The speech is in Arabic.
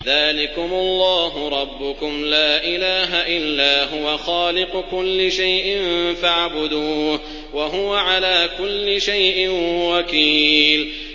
ذَٰلِكُمُ اللَّهُ رَبُّكُمْ ۖ لَا إِلَٰهَ إِلَّا هُوَ ۖ خَالِقُ كُلِّ شَيْءٍ فَاعْبُدُوهُ ۚ وَهُوَ عَلَىٰ كُلِّ شَيْءٍ وَكِيلٌ